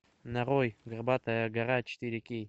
нарой горбатая гора четыре кей